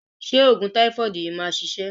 Ṣé òògùn táífọ̀dù yìí máa ṣiṣẹ́?